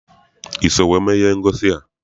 I so wee mee ihe ngosi a?